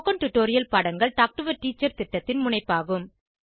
spoken tutorial பாடங்கள் talk to a teacher திட்டத்தின் முனைப்பாகும்